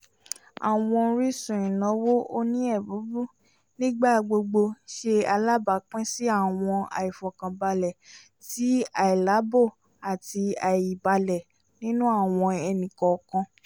àwọn orísun ìnáwó òní ébubu n'igbagbogbo ṣe alabapin si awọn aifọkanbalẹ ti ailaabo àti aibalẹ nínú àwọn ẹni kọọkan